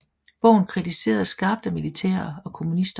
Bogen kritiseredes skarpt af militære og kommunister